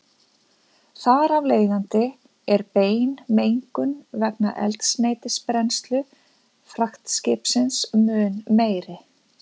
Þar af leiðandi er bein mengun vegna eldsneytisbrennslu fraktskipsins mun meiri.